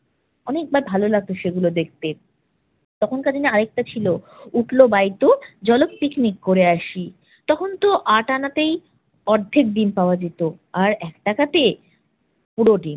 অনেকবার ভালো লাগতো সেগুলো দেখতে। তখনকার দিনে আরেকটা ছিল উঠলো বাই তো জলক পিকনিক করে আসি। তখনতো আট আনাতেই অর্ধেক ডিম পাওয়া যেম, আর এক টাকাতে পুরো ডিম।